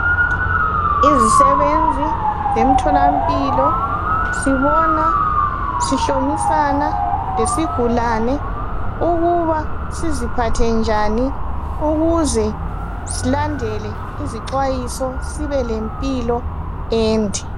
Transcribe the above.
Izisebenzi zemtholampilo sibona sihlomisana lesigulane ukuba siziphathe njani ukuze silandele izixhwayiso sibe lempilo ende.